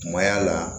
Kumaya la